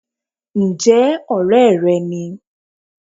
N jẹ́ òré re ni